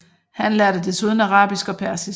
Han lærte desuden arabisk og persisk